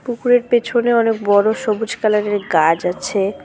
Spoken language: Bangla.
পুকুরের পেছনে অনেক বড় সবুজ কালারের গাছ আছে।